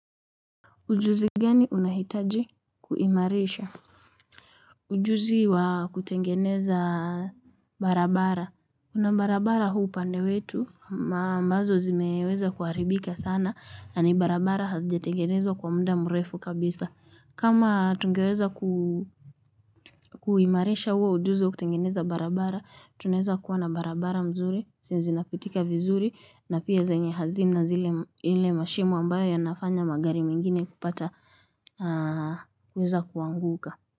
Ujuzi gani unahitaji kuimarisha? Ujuzi wa kutengeneza barabara. Kuna barabara huu upande wetu, ambazo zimeweza kuharibika sana, na ni barabara hazijatengenezwa kwa muda mrefu kabisa. Kama tungeweza kuimarisha huu ujuzi wa kutengeneza barabara, tuneza kuwa na barabara mzuri, zenye zina pitika vizuri, na pia zenye hazina zile mashimo ambayo yanafanya magari mengine kupata. Kuweza kuanguka.